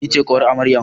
Ni ce ƙawar amarya